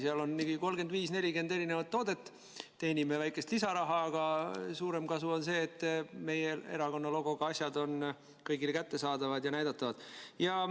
Seal on 35 või 40 erinevat toodet, teenime väikest lisaraha, aga suurem kasu on see, et meie erakonna logoga asjad on kõigile kättesaadavad ja näidatavad.